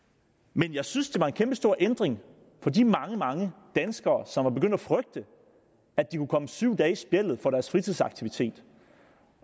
men jeg synes det var en kæmpestor ændring for de mange mange danskere som var begyndt at frygte at de kunne komme syv dage i spjældet for deres fritidsaktivitet